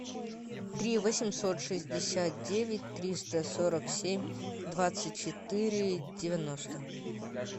три восемьсот шестьдесят девять триста сорок семь двадцать четыре девяносто